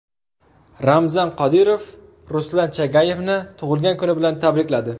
Ramzan Qodirov Ruslan Chagayevni tug‘ilgan kuni bilan tabrikladi.